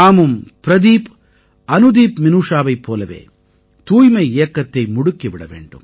நாமும் பிரதீப் அனுதீப்மினூஷாவைப் போலவே தூய்மை இயக்கத்தை முடுக்கி விட வேண்டும்